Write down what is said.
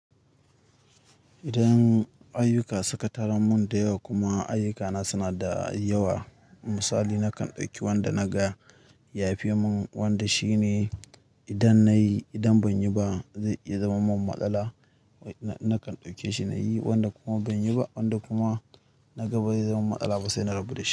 Idan ayyuka suka taru mun da yawa kuma ayyukana suna da yawa, misali nakan ɗauki wanda naga ya fi mun wanda shine idan nayi idan ban yi ba zai iya zama min matsala nakan ɗauke shi na yi wanda kuma ban yi ba wanda kuma naga ba zai zama matsala ba sai na rubuta.